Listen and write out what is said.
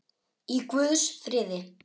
Í guðs friði.